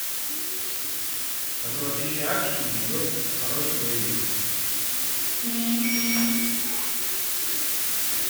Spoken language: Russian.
по тв тысяча экшен идет хороший боевик